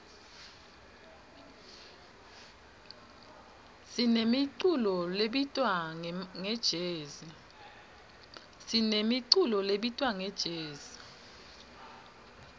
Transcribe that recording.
sinemiculo lebitwa ngejezi